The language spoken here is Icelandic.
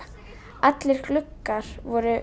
allir gluggar voru